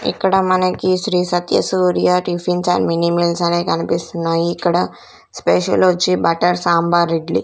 ఇక్కడ మనకి Shri Satya Surya tiffins and mini meals అనే కనిపిస్తున్నాయి ఇక్కడ స్పెషలొచ్చి బట్టర్ సాంబార్ ఇడ్లీ .